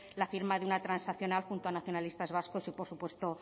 la firma de una transaccional junto a nacionalistas vascos y por supuesto